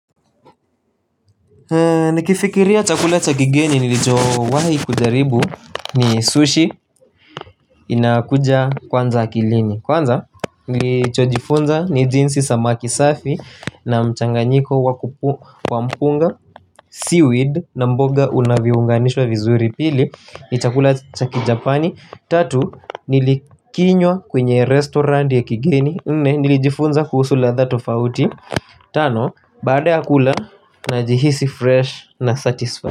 Nikifikiria chakula cha kigeni nilicho wahi kujaribu ni sushi inakuja kwanza akilini. Kwanza nilichojifunza ni jinsi samaki safi na mchanganyiko wa mpunga Seaweed na mboga unaviunganishwa vizuri. Pili, ni chakula cha kijapani. Tatu, nilikinywa kwenye restauranti ya kigeni. Nne, nilijifunza kuhusu ladha tofauti. Tano, baad ya kula unajihisi fresh na satisfied.